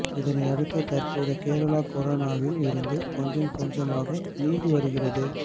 இதனை அடுத்து தற்போது கேரளா கொரோனாவில் இருந்து கொஞ்சம் கொஞ்சமாக மீண்டு வருகிறது